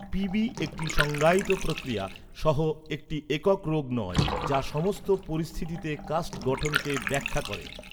পীবী একটি সংজ্ঞায়িত প্রক্রিয়া সহ একটি একক রোগ নয় যা সমস্ত পরিস্থিতিতে কাস্ট গঠনকে ব্যাখ্যা করে।